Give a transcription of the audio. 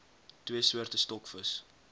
twee soorte stokvis